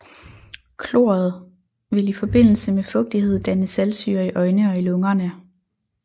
Kloret vil i forbindelse med fugtighed danne saltsyre i øjne og i lungerne